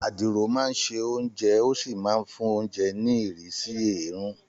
Àdìrò máa ń se oúnjẹ ó sì máa ń fún oúnjẹ ní ìrísí èérún